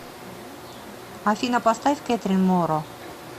афина поставь кэтрин моро